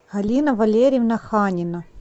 алина валерьевна ханина